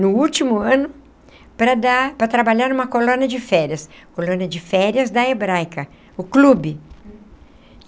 no último ano, para dar para trabalhar numa colônia de férias, colônia de férias da Hebraica, o clube.